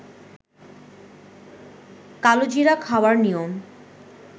কালোজিরা খাওয়ার নিয়ম